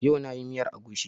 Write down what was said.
Yau na yi miyar agushi